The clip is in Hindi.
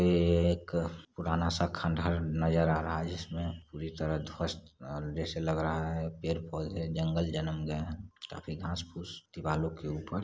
ये एक पुराना सा खंडहर नजर आ रहा हैं जिसमे पूरी तरह ध्वस्त जैसे लग रहा हैं पेड़-पौधे जंगल जन्म गए है काफी घास-फुस दिवालो के ऊपर--